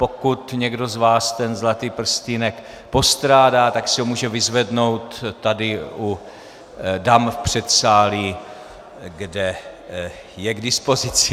Pokud někdo z vás ten zlatý prstýnek postrádá, tak si ho může vyzvednout tady u dam v předsálí, kde je k dispozici.